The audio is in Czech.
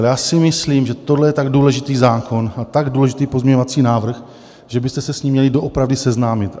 A já si myslím, že tohle je tak důležitý zákon a tak důležitý pozměňovací návrh, že byste se s ním měli doopravdy seznámit.